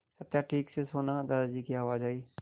सत्या ठीक से सोना दादाजी की आवाज़ आई